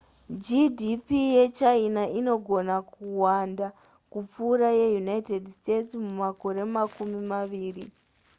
gdp yechina inogona kuwanda kupfuura yeunited states mumakore makumi maviri